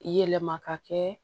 Yɛlɛma ka kɛ